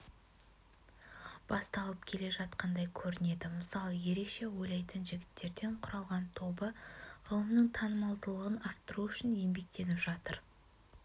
басталып жатқандай көрінеді мысалы ерекше ойлайтын жігіттерден құралған тобы ғылымның танымалдылығын арттыру үшін еңбектеніп жатыр